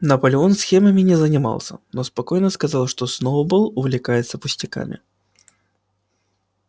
наполеон схемами не занимался но спокойно сказал что сноуболл увлекается пустяками